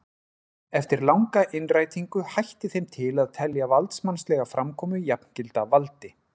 Eftir langa innrætingu hætti þeim til að telja valdsmannslega framkomu jafngilda valdi.